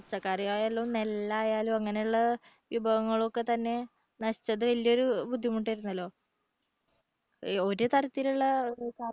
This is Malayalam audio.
പച്ചക്കറി ആയാലും നെല്ല് ആയാലും അങ്ങനെയുള്ള വിഭവങ്ങളൊക്കെ തന്നെ നശിച്ചത് വലിയൊരു ബുദ്ധിമുട്ടായിരുന്നല്ലോ? ഒരുതരത്തിലുള്ള